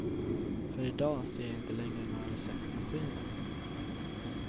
För i dag ser jag inte längre några receptmaskiner.